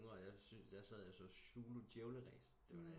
Yngre der sag jeg og så Zulu djævleræs det var da